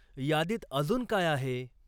यादीत अजून काय आहे?